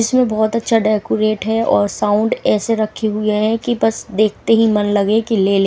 इसमे बहोत अच्छा डेकोरेट है और साउंड ऐसे रखे हुए हैं कि बस देखते ही मन लगे की ले ले।